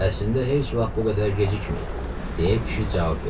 Əslində heç vaxt bu qədər gecikməyib, deyə kişi cavab verdi.